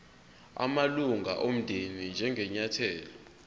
amalunga omndeni njengenyathelo